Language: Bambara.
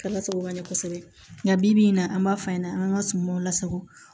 K'a lasago ka ɲɛ kosɛbɛ nka bibi in na an b'a f'an ɲɛna an ga sumaw lasago